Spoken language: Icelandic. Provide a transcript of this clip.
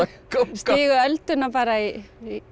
stigu öldina bara í